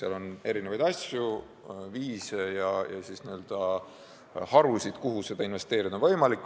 Seal on erinevaid asju, viise ja harusid, kuhu on võimalik seda investeerida.